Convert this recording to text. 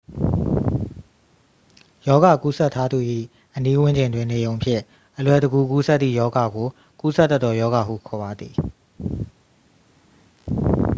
ရောဂါကူးစက်ထားသူ၏ အနီးဝန်းကျင်တွင် နေရုံဖြင့် အလွယ်တကူ ကူးစက်သည့် ရောဂါကို ကူးစက်တတ်သော ရောဂါဟု ခေါ်ပါသည်